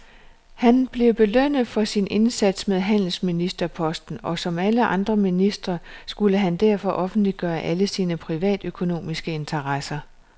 Han blev belønnet for sin indsats med handelsministerposten, og som alle andre ministre skulle han derfor offentliggøre alle sine privatøkonomiske interesser.